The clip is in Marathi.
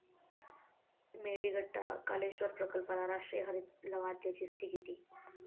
मेडीगट्टा कालेश्वर प्रकल्पाला राष्ट्रीय हरित लवाद्याची स्थगिती